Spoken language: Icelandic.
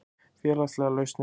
Félagslegar lausnir